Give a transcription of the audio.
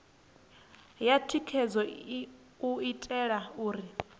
ya thikhedzo u itela uri